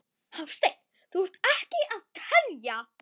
Hafsteinn: Þú ert ekki að telja?